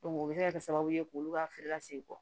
o bɛ se ka kɛ sababu ye k'olu ka feere ka sen bɔ